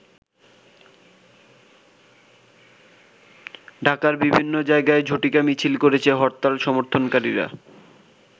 ঢাকার বিভিন্ন জায়গায় ঝটিকা মিছিল করেছে হরতাল সমর্থন কারীরা।